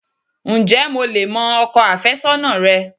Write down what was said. Ǹjé mo lè mọ ọkọ àfésónà rẹ?